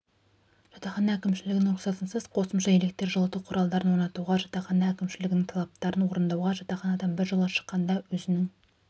жатақхана әкімшілігінің рұқсатынсыз қосымша электр жылыту құралдарды орнатуға жатақхана әкімшілігінің талаптарын орындауға жатақханадан біржолата шыққанда өзінің